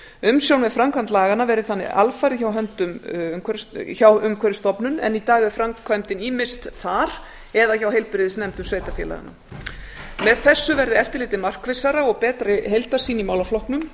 umsjón með framkvæmd laganna verði þannig alfarið hjá umhverfisstofnun en í dag er framkvæmdin ýmist þar eða hjá heilbrigðisnefndum sveitarfélaganna með því verði eftirlitið markvissara og að betri heildarsýn verði í málaflokknum